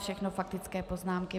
Všechno faktické poznámky.